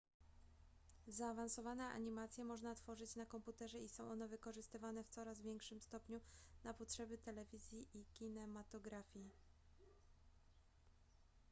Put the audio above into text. zaawansowane animacje można tworzyć na komputerze i są one wykorzystywane w coraz większym stopniu na potrzeby telewizji i kinematografii